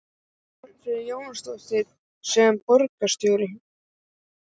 Svanfríður Jónsdóttir: Sem borgarstjóri?